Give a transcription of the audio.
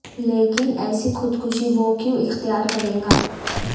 لیکن ایسی خود کشی وہ کیوں اختیار کرے گا